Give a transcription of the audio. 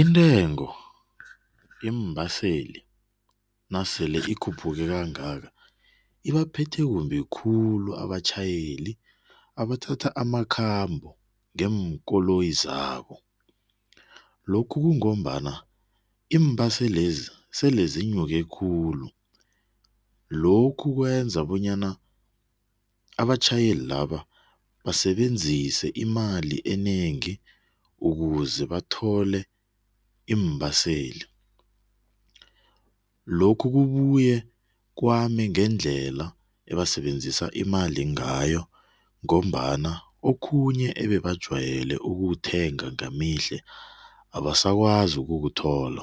Intengo yeembaseli nasele ikhuphuka kangaka abaphethe kumbi khulu abatjhayeli abathatha amakhambo ngeenkoloyi zabo. Lokhu kungombana iimbaselezi sele zinyuke khulu. Lokhu kwenza bonyana abatjhayeli laba basebenzise imali enengi ukuze bathole iimbaseli. Lokhu kubuye kwame ngendlela abasebenzisa imali ngayo ngombana okhunye ebebajwayele ukukuthenga ngemihle, abasakwazi ukukuthola